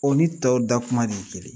O ni tɔw dakuma de ye kelen ye